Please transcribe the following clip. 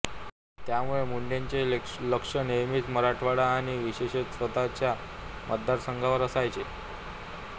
त्यामुळे मुंडेंचे लक्ष नेहमीच मराठवाडा आणि विशेषतः स्वतःच्या मतदारसंघावर असायचे